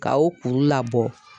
Ka o kuru labɔ.